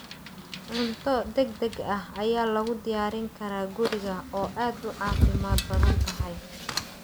Cunto degdeg ah ayaa lagu diyaarin karaa guriga oo aad u caafimaad badan tahay.